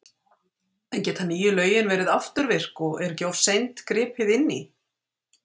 En geta nýju lögin verið afturvirk og er ekki of seint gripið inn í?